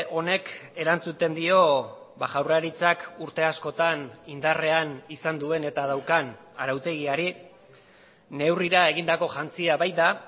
honek erantzuten dio jaurlaritzak urte askotan indarrean izan duen eta daukan arautegiari neurrira egindako jantzia baita